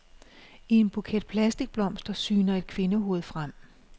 I en buket plastikblomster syner et kvindehoved frem.